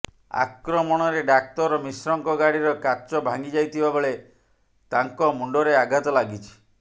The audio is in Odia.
ଆକ୍ରମଣରେ ଡାକ୍ତର ମିଶ୍ରଙ୍କ ଗାଡିର କାଚ ଭାଙ୍ଗିଯାଇଥିବାବେଳେ ତାଙ୍କ ମୁଣ୍ଡରେ ଆଘାତ ଲାଗିଛି